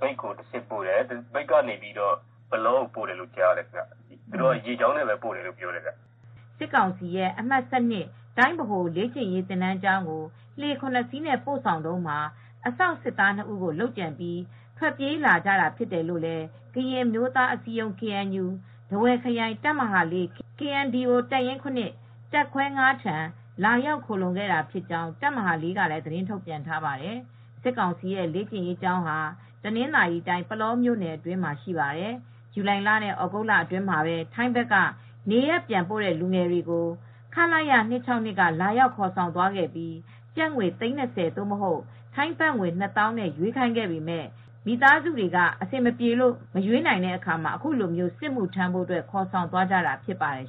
မြိတ်ကိုတဆင့်ပို့တယ် မြိတ်ကနေ ပုလောကိုပို့တယ်။ သူတို့ကတော့ရေကြောင်းကနေ ပို့ပါတယ်" စစ်ကောင်စီရဲ့ အမှတ်(၁၂) တိုင်းဗဟိုလေ့ကျင့်ရေးသင်တန်းကျောင်းကို လှေ ၇ စီးနဲ့ပို့ဆောင်တုန်းမှာ အစောင်စစ်သား၂ဦးကိုလုပ်ကြံပြီးထွက်ပြေးကြတာဖြစ်တယ်လို့လည်း ကရင်အမျိုးသားအစည်းအရုံး(KNU) ထားဝယ်ခရိုင် တပ်မဟာ(၄) KNDO တပ်ရင်း(၇)တပ်ခွဲ(၅)ထံ လာရောက်ခိုလှုံခဲ့ကြောင်း တပ်မဟာ (၄)က သတင်းထုတ်ပြန်ထားပါတယ်။ စစ်ကောင်စီရဲ့ စစ်လေ့ကျင်ရေးကျောင်းဟာ တနင်္သာရီတိုင်းပုလောမြို့နယ်အတွင်းတည်ရှိပါတယ် ။ ဇူလိုင်လ နဲ့ဩဂုတ်လအတွင်းမှာပဲ ထိုင်းဘက်က နေရပ်ပြန်ပို့တဲ့လူငယ်တွေကို ခလရ ၂၆၂ က လာရောက်ခေါ်ဆောင်သွားပြီး ကျပ်ငွေ သိန်း ၂၀ (ထိုင်းဘတ် ၂သောင်း) နဲ့ ရွေးခိုင်းပေမယ့် မိသားစုတွေကအဆင်မပြေလို့ငွေမပေးနိုင်တဲ့အခါမှာအခုလိုမျိုးစစ်မှုထမ်းဖို့ခေါ်ဆောင်သွားတာဖြစ်ပါတယ်